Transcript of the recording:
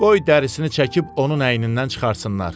Qoy dərisini çəkib onun əynindən çıxartsınlar.